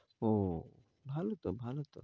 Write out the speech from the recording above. ও ভালো তো, ভালো তো